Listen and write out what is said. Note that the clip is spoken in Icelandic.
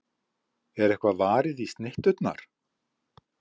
Er eitthvað varið í snitturnar?